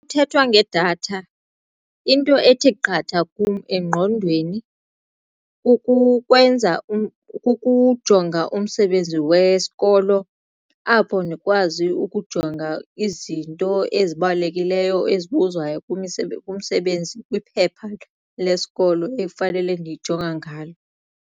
Kuthethwa ngedatha into ethe qatha kum engqondweni kukwenza kukujonga umsebenzi wesikolo apho ndikwazi ukujonga izinto ezibalulekileyo ezibuzwayo kumsebenzi kwiphepha lesikolo efanele ndiyijonga ngalo.